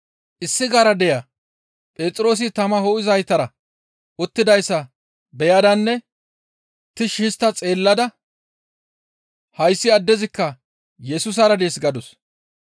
Issi garadeya Phexroosi tama ho7izaytara uttidayssa beyadanne tishshi histta xeellada, «Hayssi addezikka Yesusara dees!» gadus.